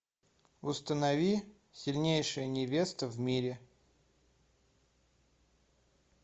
установи сильнейшая невеста в мире